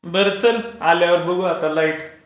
बरं चल आल्यावर बघू आता लाईट.